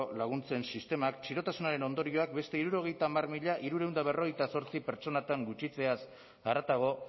laguntzen sistemak txirotasunaren ondorioak beste hirurogeita hamar mila hirurehun eta berrogeita zortzi pertsonatan gutxitzeaz haratago